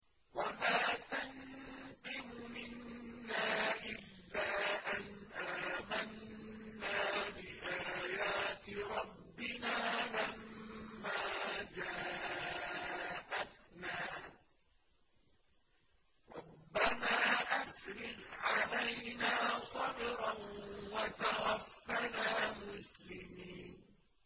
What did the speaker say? وَمَا تَنقِمُ مِنَّا إِلَّا أَنْ آمَنَّا بِآيَاتِ رَبِّنَا لَمَّا جَاءَتْنَا ۚ رَبَّنَا أَفْرِغْ عَلَيْنَا صَبْرًا وَتَوَفَّنَا مُسْلِمِينَ